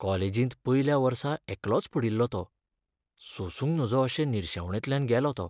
कॉलेजींत पयल्या वर्सा एकलोच पडिल्लो तो. सोंसूंक नजो अशे निर्शेवणेंतल्यान गेलो तो.